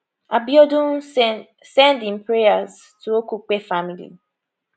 abiodun send send im prayers to okupe family